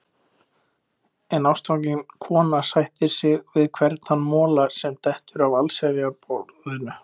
En ástfangin kona sættir sig við hvern þann mola sem dettur af allsnægtaborðinu.